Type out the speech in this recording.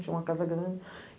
Tinha uma casa grande.